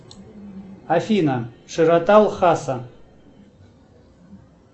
афина широта лхаса